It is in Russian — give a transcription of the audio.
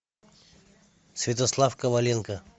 святослав коваленко